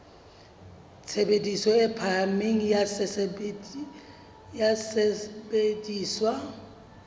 tshebediso e phahameng ya sesebediswa